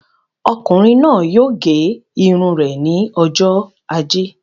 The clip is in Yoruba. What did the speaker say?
Ọkùnrin náà yóò gẹ irun rẹ ní ọjọ ajé